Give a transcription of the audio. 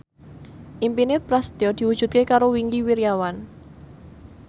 impine Prasetyo diwujudke karo Wingky Wiryawan